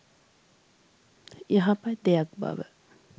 යහපත් දෙයක් බව